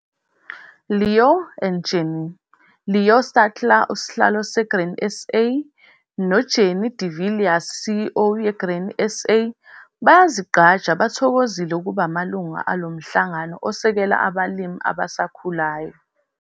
Louw and Jannie-ULouw Steytler, Sihlalo seGrain SA, noJannie de Villiers, CEO- Grain SA, bayzigqaja, bathokozile, ukuba amalunga alo mhlangano osekela abalimi abasakhulayo